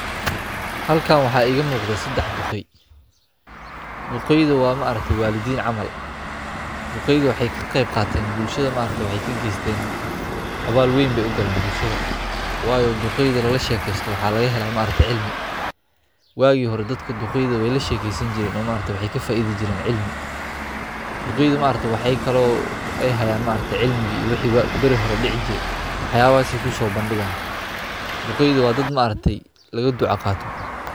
Halkan waxa iga muuqdho sadhax dhuqeey dhuqeeydha wa waalidhiin camal dhuqeeydha waxey kaqeeyb qateen bulshadha waxay kageeysteen abaal weeyn beey ugaleen bulshadha wayo dhuqeeydha lalashekeeysto waxa laga hela cilmi waagi hore dhadhka dhuqeeydha wey la shekeeysan jireen oo waxey kafaaidhi jireen cilmi dhuqeeydha waxa kale eey hayaan cilmi iyo wixi bari hore dhici jiray waxyaabahas ayey kusobandhigayaan dhuqeeydha wa dhadh lagadhuca qaato